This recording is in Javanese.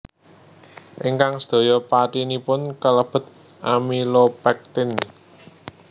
Ingkang sedaya patinipun kalebet amilopektin